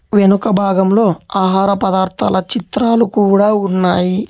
వెనుక భాగంలో ఆహార పదార్థాల చిత్రాలు కూడా ఉన్నాయి.